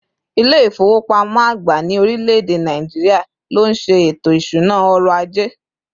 İle ifowopamọ agba ni orileede Nigeria, ló nşe eto isuna ọrọ̀ aje